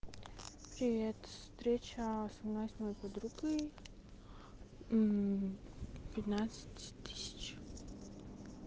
привет встреча со мной и с моей подругой мм пятнадцать тысяч